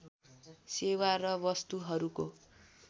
सेवा र वस्तुहरूको